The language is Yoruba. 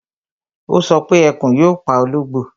Ó sọ pé Ẹkùn yóò pa ológbò